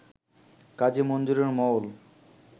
কাজী মনজুরে মওল